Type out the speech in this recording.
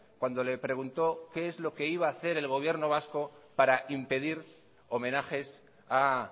cuando le preguntó qué es lo que iba hacer el gobierno vasco para impedir homenajes a